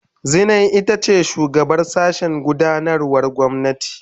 Zinai ita ce shugabar sashen gudanarwar gwamnati.